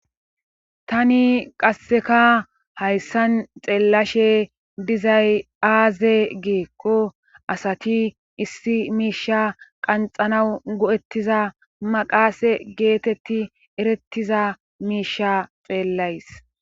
tani qasseka hayssan xeellashe dizay aaze gikko issi miisha qanxanaw go7ettiza maqaase geetetti erettiza miisha xeellays